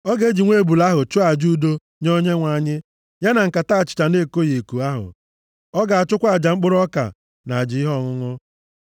Ọ ga-eji nwa ebule ahụ chụọ aja udo nye Onyenwe anyị, ya na nkata achịcha na-ekoghị eko ahụ. Ọ ga-achụkwa aja mkpụrụ ọka, na aja ihe ọṅụṅụ.